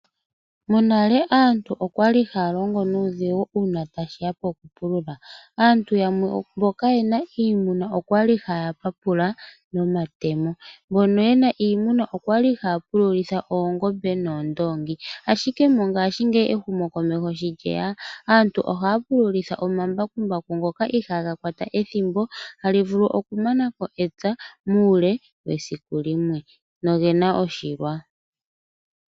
Monale aantu okwa li haya longo nuudhigu uuna tashi ya pokupulula. Aantu yamwe mbo kayena iimuna okwa li haya papula nomatemo. Mbono yena iimuna okwa li haya pululitha oongombe noondoongi, ashike mongaashingeyi ehumokomeho shi lye ya aantu oha ya pululitha omambakumbaku ngoka iha ga kwata ethimbo tali vulu oku mana ko epya muule wesiku limwe no gena oshilwa.